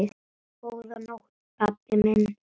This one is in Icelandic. Góða nótt, pabbi minn.